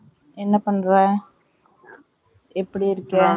என்ன பண்ற எப்படி இருக்க?